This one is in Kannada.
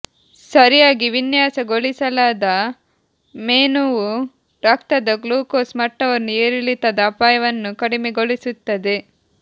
ಸರಿಯಾಗಿ ವಿನ್ಯಾಸಗೊಳಿಸಲಾದ ಮೆನುವು ರಕ್ತದ ಗ್ಲೂಕೋಸ್ ಮಟ್ಟವನ್ನು ಏರಿಳಿತದ ಅಪಾಯವನ್ನು ಕಡಿಮೆಗೊಳಿಸುತ್ತದೆ